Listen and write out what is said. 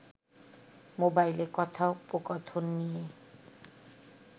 মোবাইলে কথোপকথন নিয়ে